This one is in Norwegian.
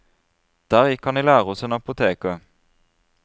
Der gikk han i lære hos en apoteker.